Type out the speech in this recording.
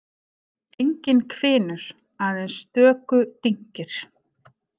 Enginn hvinur, aðeins stöku dynkir.